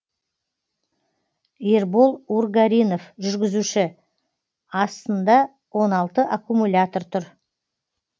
ербол ургаринов жүргізуші астында он алты аккумулятор тұр